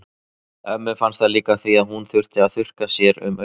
Ömmu fannst það líka því að hún þurfti að þurrka sér um augun.